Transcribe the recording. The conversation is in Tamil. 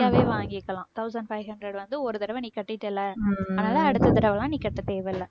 free யாவே வாங்கிக்கலாம் thousand five hundred வந்து ஒரு தடவை நீ கட்டிட்டேல்ல அதனால அடுத்த தடவை எல்லாம் நீ கட்ட தேவையில்ல.